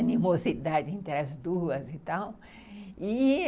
animosidade entre as duas e tal, e